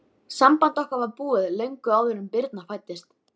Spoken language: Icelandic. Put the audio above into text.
Samband okkar var búið, löngu áður en Birna fæddist.